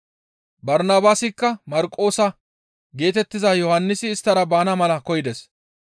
Barnabaasikka Marqoosa geetettiza Yohannisi isttara baana mala koyides.